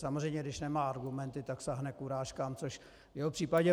Samozřejmě, když nemá argumenty, tak sáhne k urážkám, což v jeho případě...